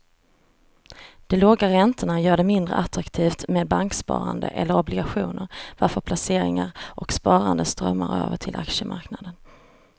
De låga räntorna gör det mindre attraktivt med banksparande eller obligationer varför placeringar och sparande strömmar över till aktiemarknaden.